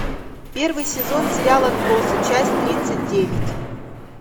первый сезон сериал отбросы часть тридцать девять